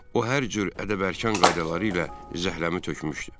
O hər cür ədəb-ərkan qaydaları ilə zəhrəmi tökmüşdü.